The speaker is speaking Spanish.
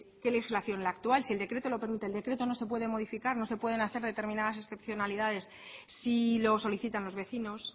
qué legislación la actual si el decreto lo permite el decreto no se puede modificar no se pueden hacer determinadas excepcionalidades si lo solicitan los vecinos